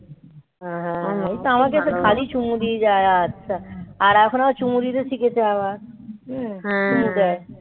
এই তো আমাকে এস খালি চুমু দিয়ে যায় আচ্ছা. আর এখন আবার চুমু দিতে শিখেছে আবার. চুমু দেয়.